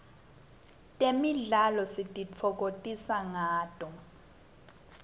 temidlalo sititfokotisa ngato